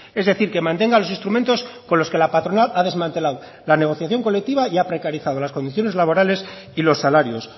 es decir que mantenga los instrumentos con los que la patronal ha desmantelado la negociación colectiva y ha precarizado las condiciones laborales y los salarios